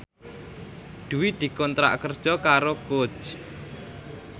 Dwi dikontrak kerja karo Coach